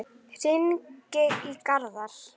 Hringi í Garðar.